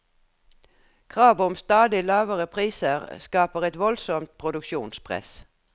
Krav om stadig lavere priser skaper et voldsomt produksjonspress.